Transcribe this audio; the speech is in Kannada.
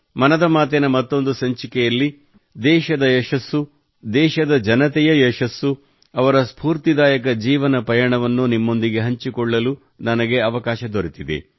ಮನದ ಮಾತಿನ ಮತ್ತೊಂದು ಸಂಚಿಕೆಯಲ್ಲಿ ದೇಶದ ಯಶಸ್ಸು ದೇಶದ ಜನತೆಯ ಯಶಸ್ಸು ಅವರ ಸ್ಪೂರ್ತಿದಾಯಕ ಜೀವನ ಪಯಣವನ್ನು ನಿಮ್ಮೊಂದಿಗೆ ಹಂಚಿಕೊಳ್ಳಲು ನನಗೆ ಅವಕಾಶ ದೊರೆತಿದೆ